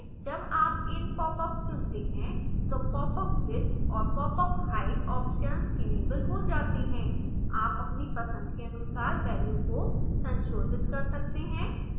जब आप in popup चुनते हैं तो popup width और popup height options इनेबल हो जाते हैं आप अपनी पसंद के अनुसार वैल्यू को संशोधित कर सकते हैं